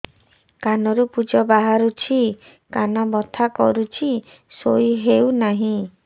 କାନ ରୁ ପୂଜ ବାହାରୁଛି କାନ ବଥା କରୁଛି ଶୋଇ ହେଉନାହିଁ